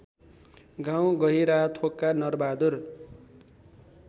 गाउँ गहिराथोकका नरबहादुर